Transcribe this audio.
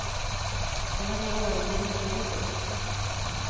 Det var det året de rika dök upp.